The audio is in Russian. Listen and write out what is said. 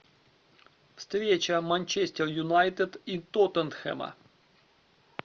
встреча манчестер юнайтед и тоттенхэма